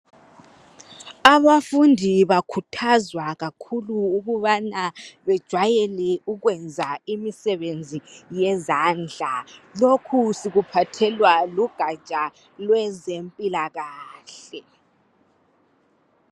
Abafundi bakhuthazwa kakhulu ukubana bejwayele ukwenza imisebenzi yezandla lokhu sikuphathelwa lugatsha lwezempilakahle.